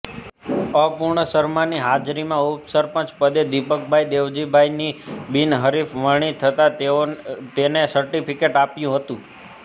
અપૂર્વ શર્માની હાજરીમા ઉપસરપંચ પદે દિપકભાઈ દેવજીભાઈની બિનહરીફ વરણી થતા તેને સર્ટિફિકેટ આપ્યું હતુ